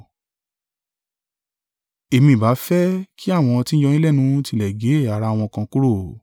Èmi ìbá fẹ́ kí àwọn tí ń yọ yín lẹ́nu tilẹ̀ gé ẹ̀yà ara wọn kan kúrò.